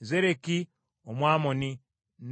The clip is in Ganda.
Zereki Omwamoni,